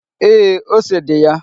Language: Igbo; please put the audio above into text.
Ee, ose dị ya.